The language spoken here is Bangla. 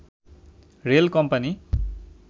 rail company